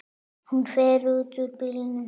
Hún fer út úr bílnum.